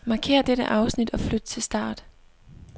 Markér dette afsnit og flyt til start.